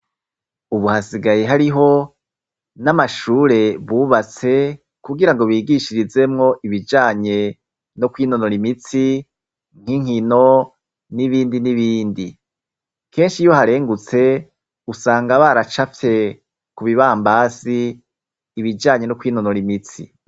Ubu hasigaye hariho n'amashure bubatse kugirango bigishirizemwo ibijanye no kwinonora imitsi nk'inkino n'ibindi n'ibindi. Kenshi iyo uharengutse usanga baracafye kubibambazi ibijanye no kwinonora imitsi.